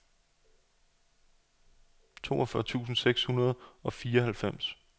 toogfyrre tusind seks hundrede og fireoghalvfems